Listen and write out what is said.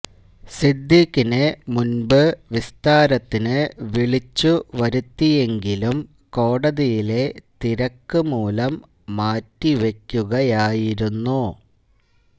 സിദ്ദീഖിനെ മുൻപ് വിസ്താരത്തിന് വിളിച്ചു വരുത്തിയെങ്കിലും കോടതിയിലെ തിരക്ക് മൂലം മാറ്റിവെക്കുകയായിരുന്നു